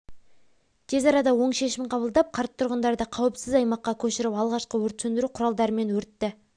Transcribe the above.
тез арада оң шешім қабылдап қарт тұрғындарды қауіпсіз аймаққа көшіріп алғашқы өрт сөндіру құралдарымен өртті